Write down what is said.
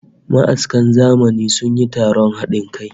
Ma'askan zamani sun yi taron hadin kai